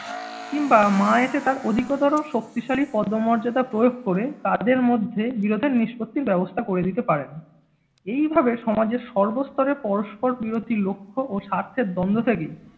কিংবা মা এসে তার অধিকতর শক্তিশালী পদমর্যাদা প্রয়োগ করে তাদের মধ্যে বিরোধের নিষ্পত্তির ব্যবস্থা করে দিতে পারেন। এই ভাবে সমাজের সর্বস্তরে পরস্পরবিরোধী লক্ষ্য ও স্বার্থের দ্বন্দ্ব থেকেই